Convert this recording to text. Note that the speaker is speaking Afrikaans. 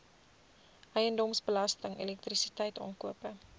eiendomsbelasting elektrisiteit aankope